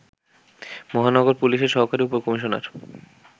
মহানগর পুলিশের সহকারী উপ-কমিশনার